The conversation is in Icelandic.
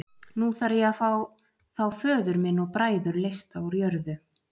Nú þarf ég að fá þá föður minn og bræður leysta úr jörðu.